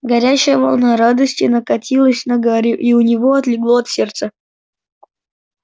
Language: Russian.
горячая волна радости накатилась на гарри и у него отлегло от сердца